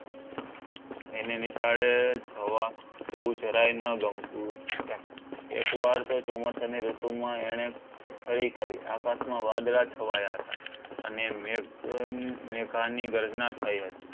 એની નિશાળે જવા જવું જરાઈ ન ગમતું એક વાર તો ચોમાસા ની ઋતુમાં એણે ખરી કરી આકાશમાં વાદળાં છવાય હતા અને મેઘાની ગર્જના થઈ હતી.